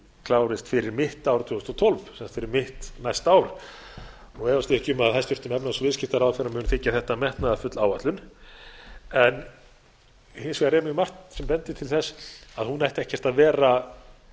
klárist fyrir mitt ár tvö þúsund og tólf það er fyrir mitt næsta ár og efast ég ekki um að hæstvirtur efnahags og viðskiptaráðherra muni þykja þetta metnaðarfull áætlun en hins vegar er mjög margt sem bendir til þess að hún ætti ekki að vera